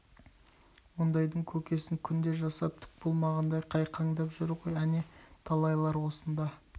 ондайдың көкесін күнде жасап түк болмағандай қайқаңдап жүр ғой әне талайлар осында